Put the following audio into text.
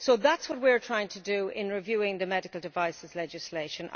That is what we are trying to do in reviewing the medical devices legislation.